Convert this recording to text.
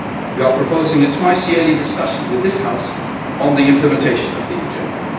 We are proposing a twice yearly discussion with this House on the implementation of the agenda.